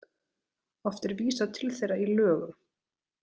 Oft er vísað til þeirra í lögum.